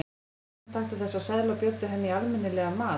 Hérna, taktu þessa seðla og bjóddu henni í almenni- legan mat.